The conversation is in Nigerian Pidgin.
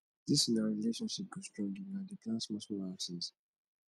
dis una relationship go strong if una dey plan smallsmall outings